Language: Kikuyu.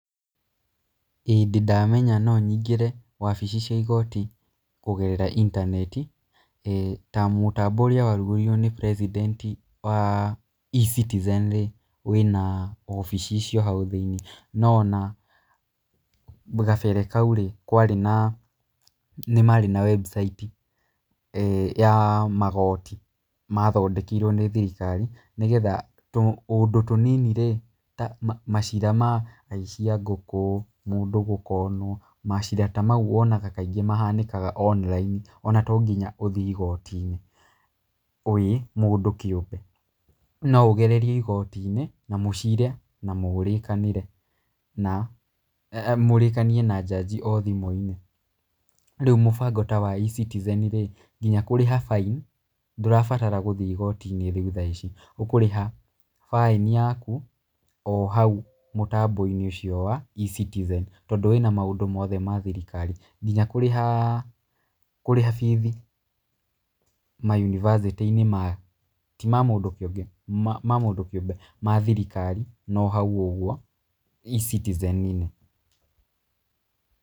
ĩĩ ndĩ ndamenya no nyingĩre wabici cia igooti kũgerera intaneti. Ta mũtambo ũrĩa warugũririo nĩ president wa E-Citizen rĩ wĩna wabici icio hau thĩiniĩ. No ona gabere kau rĩ, nĩ marĩ na webcaiti ya magooti mathondekirwo nĩ thirikari nĩgetha tũũndũ tũnini rĩ ta macira ma aici a ngũkũ, mũndũ gũ conned, macira ta mau wonaga kaingĩ mahanĩkaga online ona to nginya ũthiĩ igooti-inĩ wĩ mũndũ kĩũmbe. No ũgererie igooti-inĩ na mũcire na mũrĩkanĩre na mũrĩkanie na judge o thimũ-inĩ. Rĩu mũbango ta wa E-Citizen rĩ, ngina kũrĩha fine ndũrabatara gũthiĩ igooti-inĩ riũ thaa ici. Ũkũrĩha baĩni yaku o hau mũtambo-inĩ ũcio wa E-Citizen tondũ wĩna maũndũ mothe ma thirikari. Nginya kũrĩha fees ma yunibacĩtĩ-inĩ ti ma mũndũ kĩũmbe, ma thirikari no hau ũguo E-Citizen-inĩ.